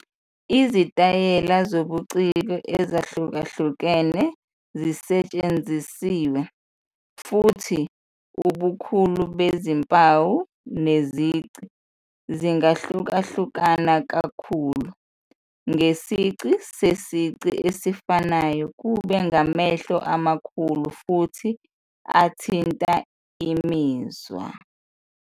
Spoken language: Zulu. Izitayela zobuciko ezahlukahlukene zisetshenzisiwe, futhi ubukhulu bezimpawu nezici zingahlukahluka kakhulu, ngesici sesici esifanayo kube ngamehlo amakhulu futhi athinta imizwa.